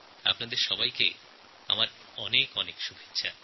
আপনাদের সবাইকে আমার অনেক অনেক শুভেচ্ছা